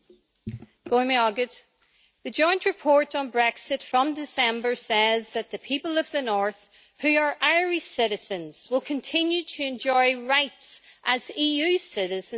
The joint report on Brexit from December says that the people of the North of Ireland who are Irish citizens will continue to enjoy rights as EU citizens where they reside'.